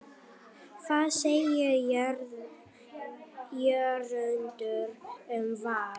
Hvað segir Jörundur um Val?